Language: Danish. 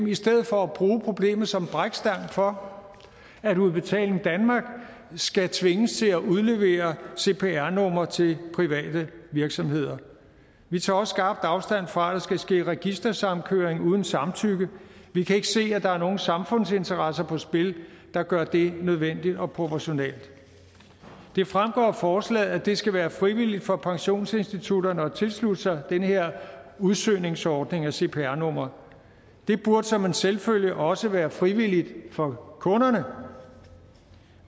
i stedet for at bruge problemet som en brækstang for at udbetaling danmark skal tvinges til at udlevere cpr numre til private virksomheder vi tager også skarpt afstand fra at der skal ske registersamkøring uden samtykke vi kan ikke se at der er nogen samfundsinteresser på spil der gør det nødvendigt og proportionalt det fremgår af forslaget at det skal være frivilligt for pensionsinstitutterne at tilslutte sig den her udsøgningsordning af cpr numre det burde som en selvfølge også være frivilligt for kunderne